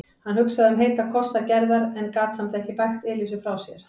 Hann hugsaði um heita kossa Gerðar en gat samt ekki bægt Elísu frá sér.